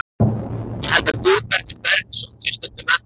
Ég held að Guðbergur Bergsson sé stundum með þeim.